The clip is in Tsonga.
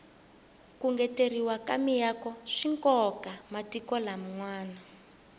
ku ngeteleriwa ka miako swikoka matiko lam nwana